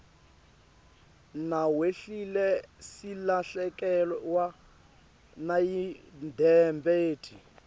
nawehlile silahlekewa nayimdebeti